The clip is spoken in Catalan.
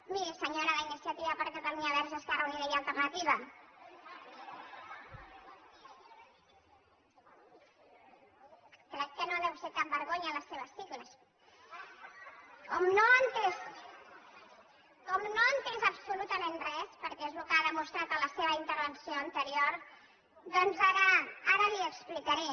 miri senyora d’iniciativa per catalunya verds esquerra unida i alternativa crec que no deuen ser cap vergonya les seves sigles com no ha entès absolutament res perquè és el que ha demostrat en la seva intervenció anterior doncs ara li ho explicaré